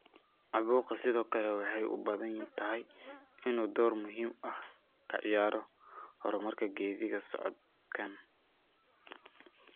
Caabuqa sidoo kale waxay u badan tahay inuu door muhiim ah ka ciyaaro horumarka geedi socodkan.